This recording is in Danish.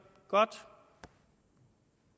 godt